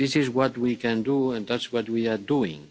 This is what we can do and that's what we are doing.